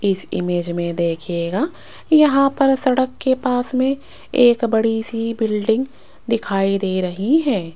इस इमेज में देखिएगा यहां पर सड़क के पास में एक बड़ी सी बिल्डिंग दिखाई दे रही है।